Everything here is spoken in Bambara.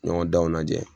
Ɲɔgɔndanw lajɛ